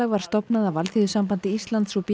var stofnað af Alþýðusambandi Íslands og b